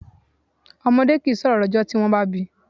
Ọmọdé kìí sọ̀rọ̀ lọ́jọ́ tí wọ́n bá bíi.